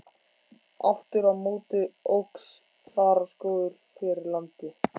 Aftur á móti óx þaraskógur fyrir landi.